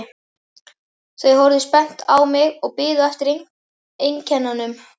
Þau horfðu spennt á mig og biðu eftir einkennunum.